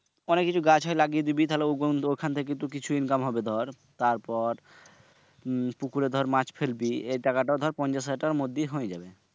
অনেক কিছু গাছ হয় তারপর ওখান থেকে তুর কিছু income হবে দর। তারপর পুকুরে দর মাছ পেলবি এই টাকাটা দর পঞ্চাশ হাজারের মধ্যেই হয়ে যাবে।